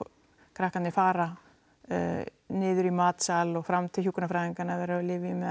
krakkarnir fara niður í matsal og fram til hjúkrunarfræðinganna ef þau eru á lyfjum eða